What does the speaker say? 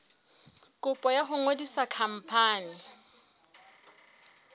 kopo ya ho ngodisa khampani